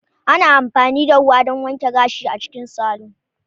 Ana amfani da ruwa don wanke gashi a cikin salon.